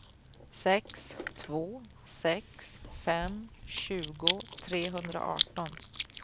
sex två sex fem tjugo trehundraarton